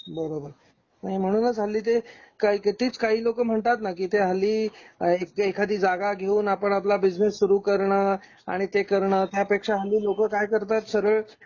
बरोबर. नाही म्हणूनच हल्ली ते काही तेच काही लोकं म्हणतात ना कि ते हल्ली काय एखादी जागा घेऊन आपण आपला बिझनेस सुरू करण आणि ते करण त्यापेक्षा हल्ली लोक काय करतात सरळ